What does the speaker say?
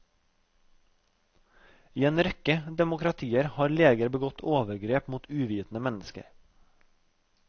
I en rekke demokratier har leger begått overgrep mot uvitende mennesker.